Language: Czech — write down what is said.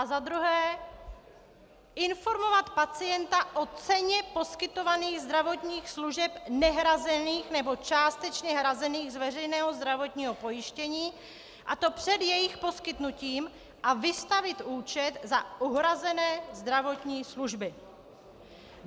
A za druhé informovat pacienta o ceně poskytovaných zdravotních služeb nehrazených nebo částečně hrazených z veřejného zdravotního pojištění, a to před jejich poskytnutím, a vystavit účet za uhrazené zdravotní služby.